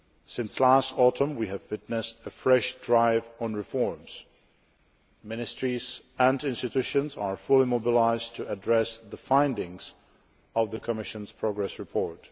Since last autumn we have witnessed a fresh drive on reforms ministries and institutions are fully mobilised to address the findings of the Commission's Progress Report.